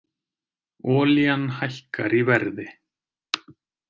Olían hækkar í verði